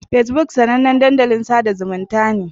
Fesbuk sanannen dandalin sada zumunta ne.